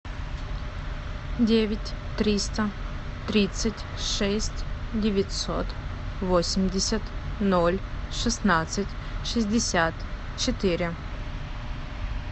девять триста тридцать шесть девятьсот восемьдесят ноль шестнадцать шестьдесят четыре